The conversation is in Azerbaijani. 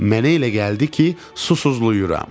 Mənə elə gəldi ki, susuzlayıram.